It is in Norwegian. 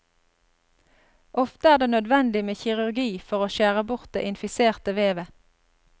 Ofte er det nødvendig med kirurgi for å skjære bort det infiserte vevet.